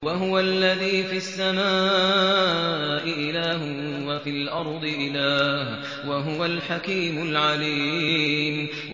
وَهُوَ الَّذِي فِي السَّمَاءِ إِلَٰهٌ وَفِي الْأَرْضِ إِلَٰهٌ ۚ وَهُوَ الْحَكِيمُ الْعَلِيمُ